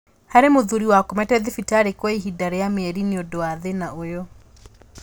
Harĩ mũthuri wakomete thibitarĩ kwa ihinda rĩa mĩeri nĩundũ wa thĩna ũyũ